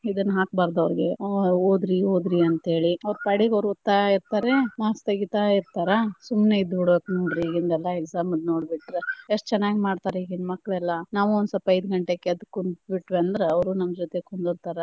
ಇದನ್ನ ಹಾಕಬಾರದ ಅವ್ರಿಗೆ, ಓದ್ರಿ ಓದ್ರಿ ಅಂತೆಳಿ ಅವ್ರ ಪಾಡಿಗ ಅವ್ರ ಓದತಾ ಇರತಾರೆ marks ತಗಿತಾ ಇರತಾರ, ಸುಮ್ನ ಇದ್ದ ಬಿಡ್ಬೇಕ ನೋಡ್ರಿ ಈಗಿಂದೆಲ್ಲಾ exam ದ ನೋಡ್ಬಿಟ್ರ, ಎಷ್ಟ ಚನ್ನಾಗಿ ಮಾಡ್ತಾರ ಇಗಿನ ಮಕ್ಳ ಎಲ್ಲಾ ನಾವು ಒಂದ ಸ್ವಲ್ಪ ಐದ ಗಂಟೆಕ ಎದ್ದ ಕುಂತ ಬಿಟ್ವಿ ಅಂದ್ರ ಅವ್ರು ನಮ್ಮ ಜೊತೆ ಕುಂದ್ರತಾರ.